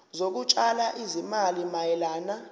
zokutshala izimali mayelana